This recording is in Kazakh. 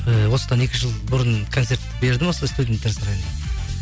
ііі осыдан екі жыл бұрын концерт бердім осы студенттер сарайында